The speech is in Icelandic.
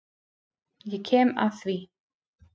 Ég kem að því.